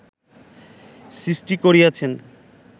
সৃষ্টি করিয়াছেন